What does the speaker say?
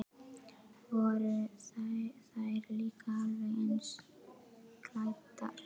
Voru þær líka alveg eins klæddar?